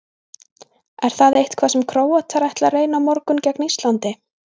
Er það eitthvað sem Króatar ætla að reyna á morgun gegn Íslandi?